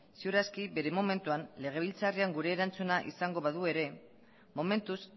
seguru aski bere momentuan legebiltzarrean gure erantzuna izango badu ere momentuz